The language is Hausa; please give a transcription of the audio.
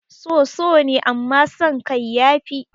So so ne amman san kai ya fi